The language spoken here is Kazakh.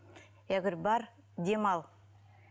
я говорю бар демал